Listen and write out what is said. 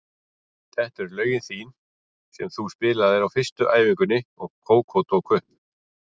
Þetta eru lögin þín sem þú spilaðir á fyrstu æfingunni og Kókó tók upp.